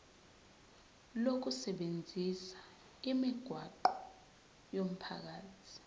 lokusebenzisa imigwaqo yomphakathi